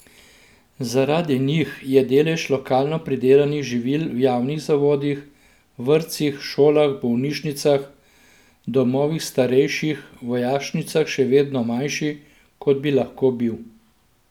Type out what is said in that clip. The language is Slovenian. Zaradi njih je delež lokalno pridelanih živil v javnih zavodih, vrtcih, šolah, bolnišnicah, domovih starejših, vojašnicah še vedno manjši, kot bi lahko bil.